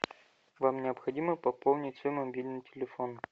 вам необходимо пополнить свой мобильный телефон